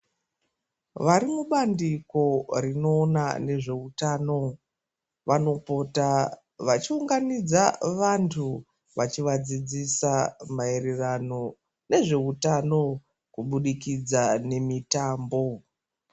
Varimubandiko rinoona nezveutano, vanopota vachiunganidza vantu vachivadzidzisa maererano nezveutano kubudikidza nemitambo.